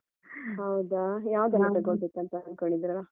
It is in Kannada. ಹೌದಾ? ಯಾವುದೆಲ್ಲ ತಗೊಳ್ಬೇಕಂತ ಅನ್ಕೊಂಡಿದ್ದೀರಾ?